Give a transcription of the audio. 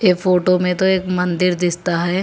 ये फोटो में तो एक मंदिर दिखता है।